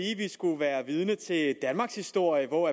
skulle være vidner til et stykke danmarkshistorie hvor